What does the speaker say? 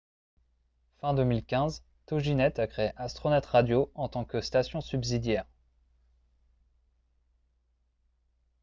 fin 2015 toginet a créé astronet radio en tant que station subsidiaire